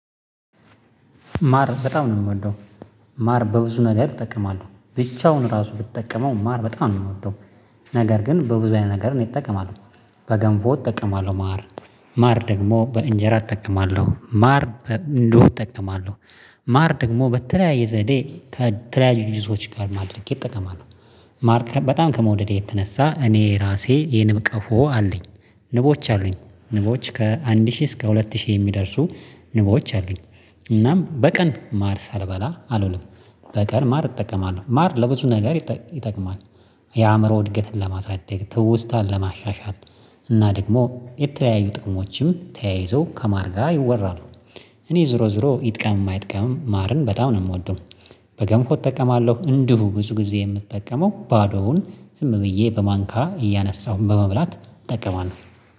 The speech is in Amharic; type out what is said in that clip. ማር በጣም ነው የምወደው። ማር በብዙ ነገር እጠቀማለሁ ብቻውን ራሱ ብጠቀመው ማር በጣም ነው የምወደው። ነገር ግን በብዙ አይነት ነገር እኔ እጠቀማለው። በገንፎ እጠቀማለው ማር ማር ደግሞ በእንጀራ እጠቀማለሁ ማር እንዲሁ እጠቀማለሁ ማር ደግሞ በተለያየ ዘዴ ከተለያዩ ድጅቶች ጋር አድረጌ እጠቀማለው። ማር በጣም ከመውደዴ የተነሳ እኔ ራሴ የንብቀፎ አለኝ። ንቦች አሉኝ ንቦች ከአንድ ሺህ እስከ ሁለት ሺህ የሚደርሱ ንቦች አሉኝ። እናም በቀን ማር ሳልበላ አልውልም። በቀን ማር እጠቀማለሁ ማር ለብዙ ነገር ይጠቅማል። የአእምሮ እድገትን ለማሳደግ ትውስታን ለማሻሻል እና ደግሞ የተለያዩ ጥቅሞችም ተያይዞ ከማር ጋር ይወራሉ። እኔ ዞሮ ዞሮ ይጥቀምም አይጥቀምም ማርን በጣም ነው የምወደው። በገንፎ እጠቀማለሁ እንዲሁ ብዙ ጊዜ የምጠቀመው ባዶውን ዝም ብዬ በማንኪያ እያነሳሁኝ በመብላት እጠቀማለሁ